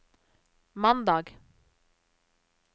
mandag